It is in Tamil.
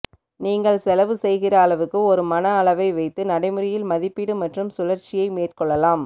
நீங்கள் செலவு செய்கிற அளவுக்கு ஒரு மன அளவை வைத்து நடைமுறையில் மதிப்பீடு மற்றும் சுழற்சியை மேற்கொள்ளலாம்